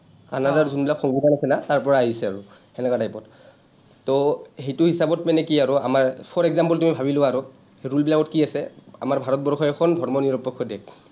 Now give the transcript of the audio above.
কানাডাৰ যোনবিলাক সংবিধান আছে না, তাৰপৰাই আহিছে আৰু, তেনেকুৱা type ত। to সেইটো হিচাপত মানে কি আৰু আমাৰ for example তুমি ভাবি লোৱা আৰু, rule বিলাকত কি আছে, আমাৰ ভাৰতবৰ্ষ এখন ধৰ্মনিৰপেক্ষ দেশ।